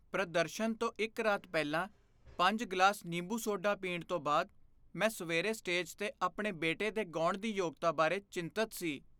ਪ੍ਰਦਰਸ਼ਨ ਤੋਂ ਇੱਕ ਰਾਤ ਪਹਿਲਾਂ ਪੰਜ ਗਲਾਸ ਨਿੰਬੂ ਸੋਡਾ ਪੀਣ ਤੋਂ ਬਾਅਦ ਮੈਂ ਸਵੇਰੇ ਸਟੇਜ 'ਤੇ ਆਪਣੇ ਬੇਟੇ ਦੇ ਗਾਉਣ ਦੀ ਯੋਗਤਾ ਬਾਰੇ ਚਿੰਤਤ ਸੀ